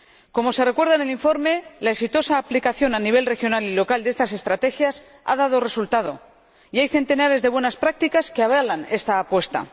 Como se recuerda en el informe, la exitosa aplicación a nivel regional y local de estas estrategias ha dado resultado y hay centenares de buenas prácticas que avalan esta apuesta.